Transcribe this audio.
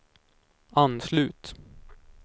anslut